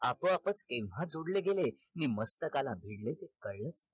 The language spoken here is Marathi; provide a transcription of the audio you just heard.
आपोआपच केव्हा जोडले गेले कि मस्तकाला भिडलेसुद्धा येऊन